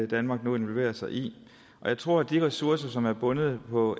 danmark nu involverer sig i og jeg tror at de ressourcer som er bundet på